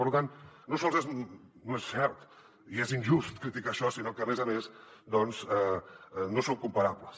per tant no sols no és cert i és injust criticar això sinó que a més a més doncs no són comparables